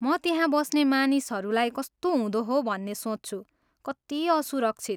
म त्यहाँ बस्ने मानिसहरूलाई कस्तो हुँदो हो भन्ने सोच्छु। कति असुरक्षित!